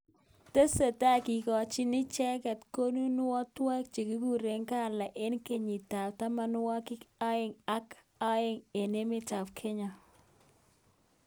tesetai kikochini icheket kunonuiwek chekikure gala enge kenyit ab tamanwagik aeng aka aeng eng emet ab Kenya.